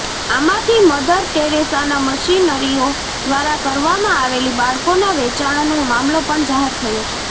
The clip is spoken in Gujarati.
આમાંથી મધર ટેરેસાના મિશનરીઓ દ્વારા કરવામાં આવેલી બાળકોના વેચાણનો મામલો પણ જાહેર થયો છે